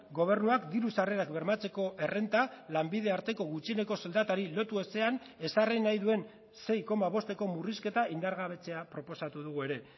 gobernuak diru sarrerak bermatzeko errenta lanbide arteko gutxieneko soldatari lotu ezean ezarri nahi duen sei koma bosteko murrizketa indargabetzea proposatu dugu ere